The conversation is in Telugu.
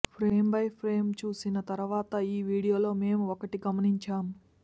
ఫ్రేమ్ బై ఫ్రేమ్ చూసిన తర్వాత ఈ వీడియోలో మేం ఒకటి గమనించాం